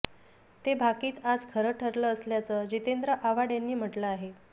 ते भाकीत आज खरं ठरलं असल्याचं जितेंद्र आव्हाड यांनी म्हटलं आहे